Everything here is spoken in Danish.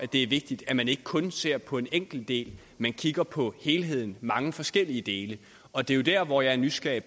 det er vigtigt at man ikke kun ser på en enkelt del men kigger på helhedens mange forskellige dele og det er der hvor jeg er nysgerrig